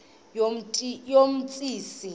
yomsintsi